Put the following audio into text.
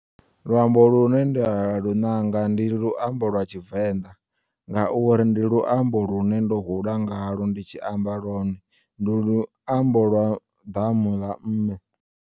Luambo lune nda lu ṋanga ndi luambo lwa tshivenḓa ngauri ndi luambo lune ndo hula ngalwo nditshi amba lwone ndi luambo lwa ḓamu ḽa mme.